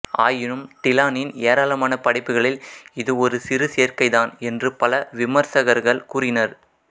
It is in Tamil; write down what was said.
ஆயினும் டிலானின் ஏராளமான படைப்புகளில் இது ஒரு சிறு சேர்க்கை தான் என்று பல விமர்சகர்கள் கூறினர்